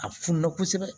A fununa kosɛbɛ